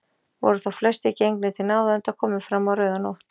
Voru þá flestir gengnir til náða, enda komið fram á rauðanótt.